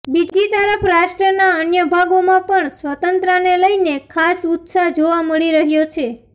બીજી તરફ રાષ્ટ્રના અન્ય ભાગોમાં પણ સ્વતંત્રતાને લઇને ખાસ ઉત્સાહ જોવા મળી રહ્યો છે